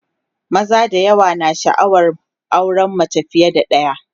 maza da yawa na sha'awar auran mace fiye da ɗaya